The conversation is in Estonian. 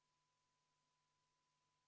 Palun võtta seisukoht ja hääletada!